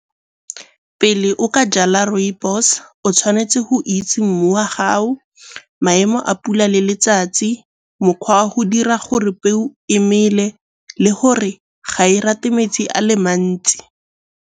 Pele o ka jala rooibos o tshwanetse go itse mmu wa gago, maemo a pula le letsatsi, mokgwa wa go dira gore peo emele le gore ga e rate metsi a le mantsi.